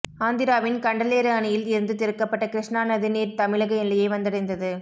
ஆந்திராவின் கண்டலேறு அணையில் இருந்து திறக்கப்பட்ட கிருஷ்ணா நதி நீர் தமிழக எல்லையை வந்தடைந்தது